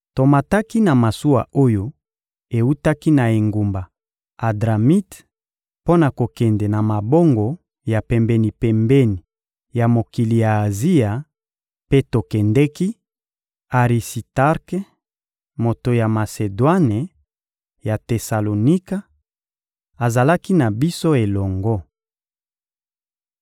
Tomataki na masuwa oyo ewutaki na engumba Adramite mpo na kokende na mabongo ya pembeni-pembeni ya mokili ya Azia, mpe tokendeki; Arisitarke, moto ya Masedwane ya Tesalonika, azalaki na biso elongo.